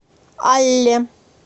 алле